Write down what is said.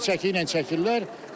Diri çəki ilə çəkirlər.